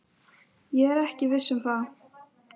Ég er ekki viss um það.